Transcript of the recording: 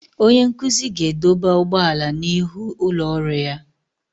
Onye nkuzi ga-edọba ụgbọala n'ihu ụlọ ọrụ ya.